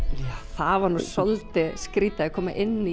það var svolítið skrítið að koma inn